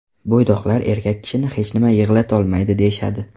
Bo‘ydoqlar erkak kishini hech nima yig‘latolmaydi deyishadi.